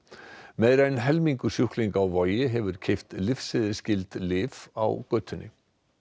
meira en helmingur sjúklinga á Vogi hefur keypt lyfseðilsskyld lyf á götunni